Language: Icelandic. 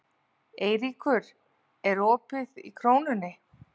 Eyríkur, er opið í Krónunni?